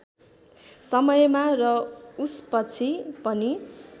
समयमा र उसपछि पनि